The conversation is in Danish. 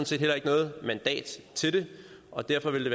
set heller ikke noget mandat til det og derfor ville